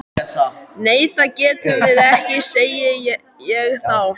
Nei það getum við ekki, segi ég þá.